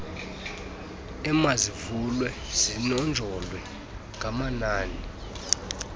emazivulwe zinonjolwe ngamanani